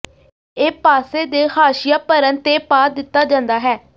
ਇਹ ਪਾਸੇ ਦੇ ਹਾਸ਼ੀਆ ਭਰਨ ਤੇ ਪਾ ਦਿੱਤਾ ਜਾਂਦਾ ਹੈ